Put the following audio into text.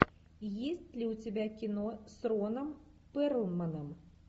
есть ли у тебя кино с роном перлманом